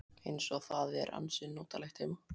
Eins og það er ansi notalegt heima.